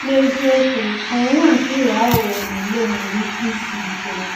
N’eziokwu, ọnwụnwa nke ịghọ aghụghọ n’ule nwere ike isi ike.